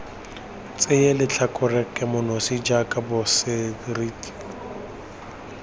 tseye letlhakore kemonosi kana boseriti